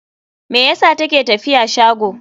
Me yasa ta ke tafiya shago?